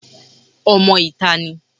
Ọmọ ìta ní